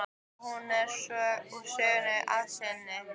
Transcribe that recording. Og er hún svo úr sögunni að sinni.